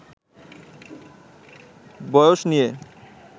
বয়স নিয়ে